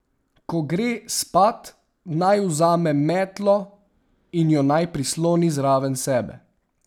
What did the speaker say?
Ko gre spat, naj vzame metlo in jo naj prisloni zraven sebe.